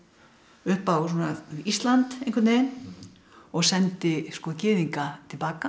upp á Ísland einhvern veginn og sendi gyðinga til baka